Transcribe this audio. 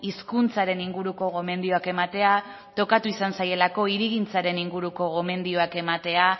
hizkuntzaren inguruko gomendioak ematea tokatu izan zaielako hirigintzaren inguruko gomendioak ematea